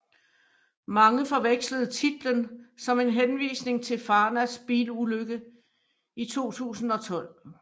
Mange forvekslede titlen som en henvisning til Farnas bilulykke i 2012